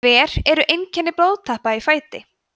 hver eru einkenni blóðtappa í fæti